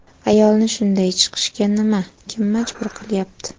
Ayolni shunday chiqishga nima, kim majbur qilyapti?